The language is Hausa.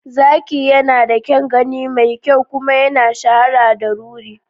Zaki yana da kyan gani mai kyau kuma ya shahara da ruri.